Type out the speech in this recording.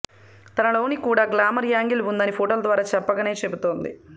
తనలోని కూడా glamour angle ఉందని ఫోటోల ద్వారా చెప్పకనే చెబుతోంది